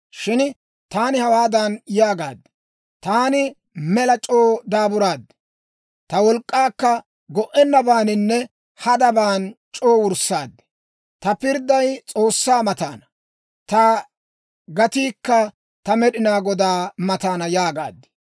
Shin taani hawaadan yaagaad; «Taani mela c'oo daaburaad; ta wolk'k'aakka go"ennabaaninne hadaban c'oo wurssaad. Ta pirdday S'oossaa mataana; ta gatiikka ta Med'inaa Godaa mataana» yaagaad.